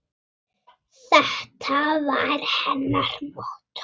Og líka þegar á mæddi.